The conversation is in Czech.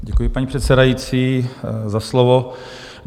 Děkuji, paní předsedající, za slovo.